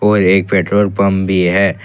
और एक petrol pump भी है।